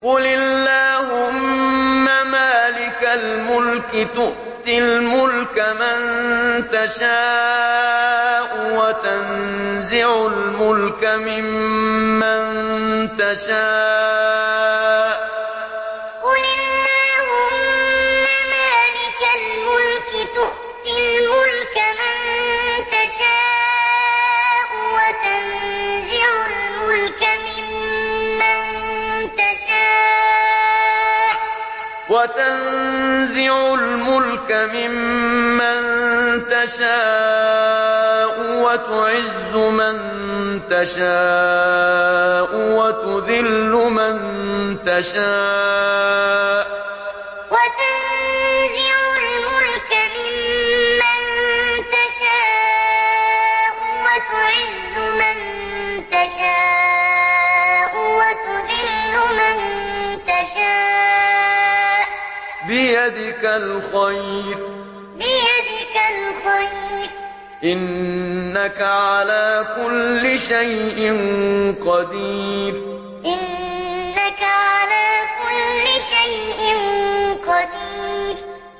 قُلِ اللَّهُمَّ مَالِكَ الْمُلْكِ تُؤْتِي الْمُلْكَ مَن تَشَاءُ وَتَنزِعُ الْمُلْكَ مِمَّن تَشَاءُ وَتُعِزُّ مَن تَشَاءُ وَتُذِلُّ مَن تَشَاءُ ۖ بِيَدِكَ الْخَيْرُ ۖ إِنَّكَ عَلَىٰ كُلِّ شَيْءٍ قَدِيرٌ قُلِ اللَّهُمَّ مَالِكَ الْمُلْكِ تُؤْتِي الْمُلْكَ مَن تَشَاءُ وَتَنزِعُ الْمُلْكَ مِمَّن تَشَاءُ وَتُعِزُّ مَن تَشَاءُ وَتُذِلُّ مَن تَشَاءُ ۖ بِيَدِكَ الْخَيْرُ ۖ إِنَّكَ عَلَىٰ كُلِّ شَيْءٍ قَدِيرٌ